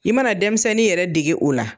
I mana denmisɛnnin yɛrɛ dege o la.